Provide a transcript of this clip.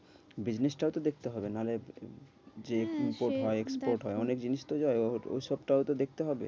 Business টাও তো দেখতে হবে নাহলে হ্যাঁ যে import হয় export হয়। অনেক জিনিস তো যায় ঐসব টাও তো দেখতে হবে।